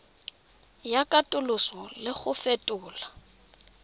ya katoloso le go fetola